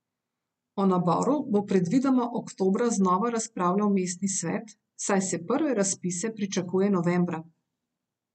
O naboru bo predvidoma oktobra znova razpravljal mestni svet, saj se prve razpise pričakuje novembra.